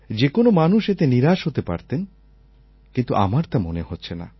যে কোনও মানুষ এতে নিরাশ হতে পারতেন কিন্তু আমার তা মনে হচ্ছে না